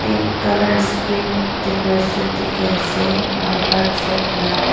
pink colours screen decoration dikhiase aro heart shape pa--